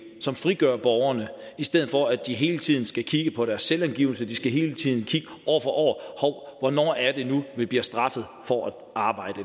som frigør borgerne i stedet for at de hele tiden skal kigge på deres selvangivelse de skal hele tiden holde øje det nu er de bliver straffet for at arbejde